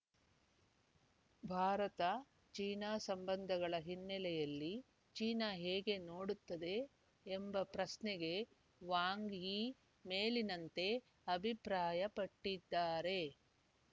Bharat China ಸಂಬಂಧಗಳ ಹಿನ್ನೆಲೆಯಲ್ಲಿ China ಹೇಗೆ ನೋಡುತ್ತದೆ ಎಂಬ ಪ್ರಶ್ನೆಗೆ ವಾಂಗ್ ಯಿ ಮೇಲಿನಂತೆ ಅಭಿಪ್ರಾಯ ಪಟ್ಟಿದ್ದಾರೆ